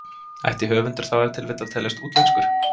Ætti höfundur þá ef til vill að teljast útlenskur?